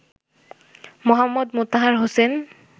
Md. Motahar Hossain